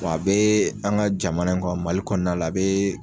A bɛ an ka jamana kɔ mali kɔnɔna la a bɛ.